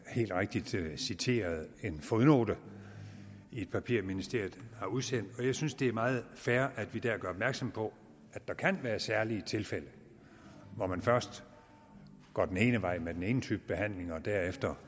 helt rigtigt citeret en fodnote i et papir ministeriet har udsendt jeg synes det er meget fair at vi her gør opmærksom på at der kan være særlige tilfælde hvor man først går den ene vej med den ene type behandling og derefter